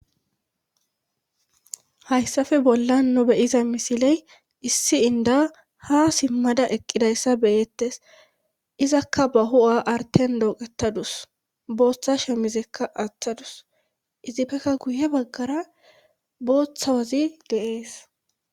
Hayssafe bollan nu beyiza misiley issi inda ha simmada eqqidayssa beyettes izakka ba hu7a arten dooqettadus booththa shemizekka aaththadus izipfeka guye baggara booththawazi de,es.